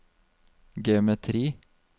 geometri